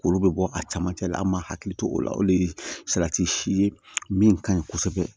K'olu bɛ bɔ a camancɛ la an man hakili to o la o de ye salati si ye min ka ɲi kosɛbɛ